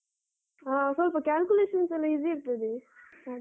ಹಾ ಸ್ವಲ್ಪ calculations ಎಲ್ಲ easy ಇರ್ತದೆ ಹಾಗೆ.